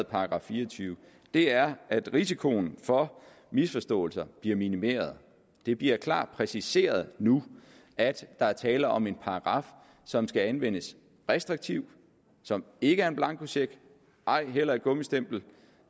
§ fire og tyve er at risikoen for misforståelser bliver minimeret det bliver klart præciseret nu at der er tale om en paragraf som skal anvendes restriktivt som ikke er en blankocheck ej heller et gummistempel